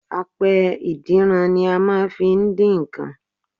Apẹ ìdínran ni a máa n fi dín nkan